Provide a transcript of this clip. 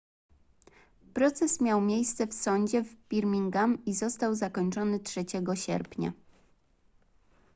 proces miał miejsce w sądzie w birmingham i został zakończony 3 sierpnia